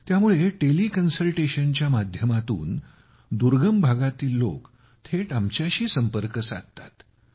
त्यामुळे टेलि कन्सल्टेशनच्या माध्यमातून दुर्गम भागातील लोकं थेट आमच्याशीसंपर्क साधतात